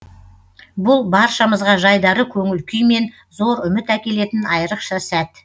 бұл баршамызға жайдары көңіл күй мен зор үміт әкелетін айрықша сәт